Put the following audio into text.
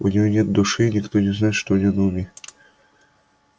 у неё нет души и никто не знает что у неё на уме